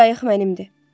Qayıq mənimdir.